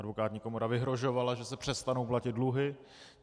Advokátní komora vyhrožovala, že se přestanou platit dluhy.